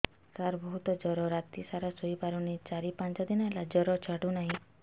ସାର ବହୁତ ଜର ରାତି ସାରା ଶୋଇପାରୁନି ଚାରି ପାଞ୍ଚ ଦିନ ହେଲା ଜର ଛାଡ଼ୁ ନାହିଁ